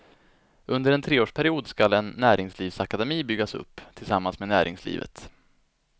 Under en treårsperiod skall en näringslivsakademi byggas upp, tillsammans med näringslivet.